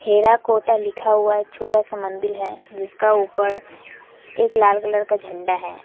हीरा कोटा लिखा हुआ एक छोटा सा मंदिल है जिसका ऊपर एक लाल कलर का झंडा है।